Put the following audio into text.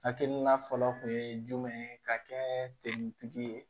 Hakilina fɔlɔ kun ye jumɛn ye ka kɛ tigi ye